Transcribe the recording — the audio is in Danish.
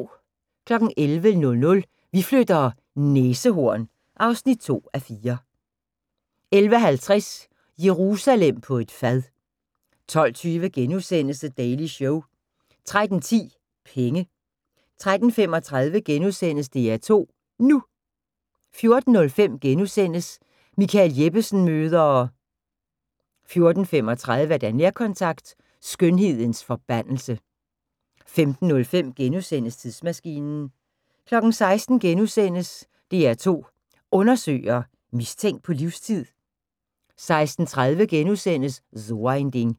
11:00: Vi flytter - næsehorn (2:4) 11:50: Jerusalem på et fad 12:50: The Daily Show * 13:10: Penge 13:35: DR2 NU * 14:05: Michael Jeppesen møder ...* 14:35: Nærkontakt - Skønhedens forbandelse 15:05: Tidsmaskinen * 16:00: DR2 Undersøger: Mistænkt på livstid? * 16:30: So ein Ding *